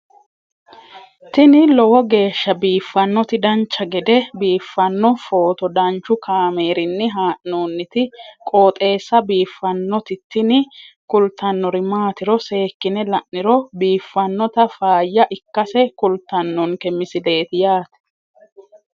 tini lowo geeshsha biiffannoti dancha gede biiffanno footo danchu kaameerinni haa'noonniti qooxeessa biiffannoti tini kultannori maatiro seekkine la'niro biiffannota faayya ikkase kultannoke misileeti yaate